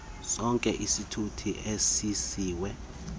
sonke isithuthi ezenziwe